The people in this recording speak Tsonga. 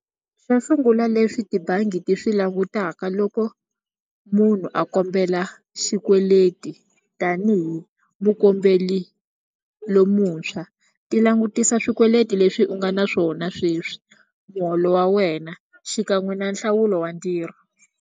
Swo sungula leswi tibangi ti swi langutaka loko munhu a kombela xikweleti tanihi mukombeli lomuntshwa ti langutisa swikweleti leswi u nga na swona sweswi muholo wa wena xikan'we na nhlawulo wa ntirho.